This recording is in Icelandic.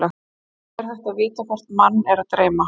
er hægt að vita hvort mann er að dreyma